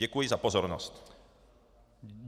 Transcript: Děkuji za pozornost.